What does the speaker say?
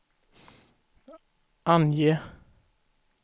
ange